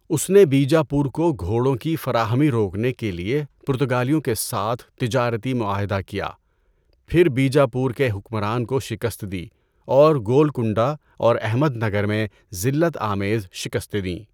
اس نے بیجاپور کو گھوڑوں کی فراہمی روکنے کے لیے پرتگالیوں کے ساتھ تجارتی معاہدہ کیا، پھر بیجاپور کے حکمران کو شکست دی اور گولکنڈہ اور احمد نگر میں ذلت آمیز شکستیں دیں۔